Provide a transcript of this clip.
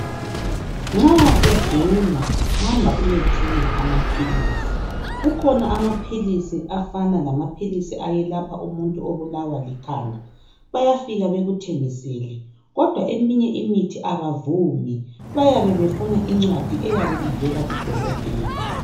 Nxa ugula hamba uyethenga amaphilisi. Kukhona amaphilisi afana lama philisi ayelapha umuntu obulawa likhanda. Bayafika bekuthengisele. Kodwa eminye imithi abavumi, bayabe befuna incwadi eyabe ivela kuDokotela.